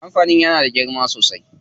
Kampanin yana da girma sosai.